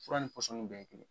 Fura ni pɔsɔni bɛ ye kelen